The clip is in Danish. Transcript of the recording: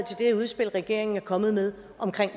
til regeringen er kommet med om